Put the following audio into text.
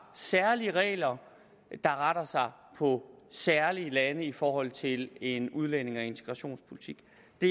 særlige regler der retter sig mod særlige lande i forhold til en udlændinge og integrationspolitik